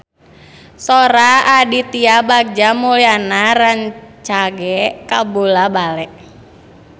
Sora Aditya Bagja Mulyana rancage kabula-bale